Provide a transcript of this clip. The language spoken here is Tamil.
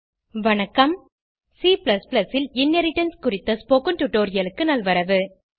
C ல் இன்ஹெரிடன்ஸ் குறித்த ஸ்போகன் டுடோரியலுக்கு நல்வரவு